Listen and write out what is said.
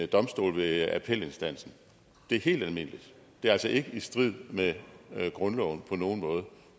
domstol ved appelinstansen det er helt almindeligt det er altså ikke i strid med grundloven på nogen måde